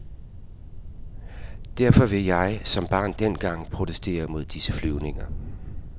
Derfor vil jeg, som barn dengang, protestere mod disse flyvninger.